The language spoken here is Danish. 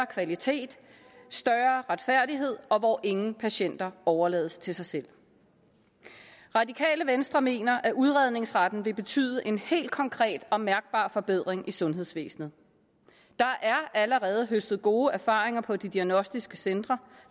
kvalitet og større retfærdighed og hvor ingen patienter overlades til sig selv det radikale venstre mener at udredningsretten vil betyde en helt konkret og mærkbar forbedring i sundhedsvæsenet der er allerede høstet gode erfaringer på de diagnostiske centre